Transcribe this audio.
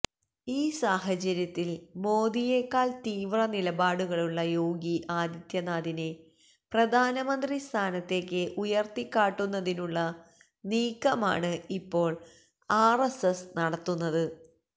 ഈ സാഹചര്യത്തിൽ മോദിയേക്കാൾ തീവ്ര നിലപാടുകളുള്ള യോഗി ആദിത്യനാദിനെ പ്രധാനമന്ത്രി സ്ഥാനത്തേയ്ക്ക് ഉയർത്തിക്കാട്ടുന്നതിനുള്ള നീക്കമാണ് ഇപ്പോൾ ആർഎസ്എസ് നടത്തുന്നത്